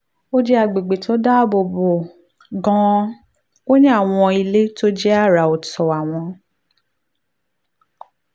ó jẹ́ àgbègbè tó dáàbò bo gan-an ó ní àwọn ilé tó jẹ́ àrà ọ̀tọ̀ àwọn